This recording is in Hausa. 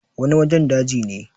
wani wajen daji ne